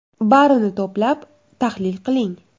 Barini to‘plab, tahlil qiling.